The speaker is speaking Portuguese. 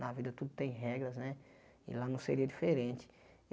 Na vida tudo tem regras né e lá não seria diferente.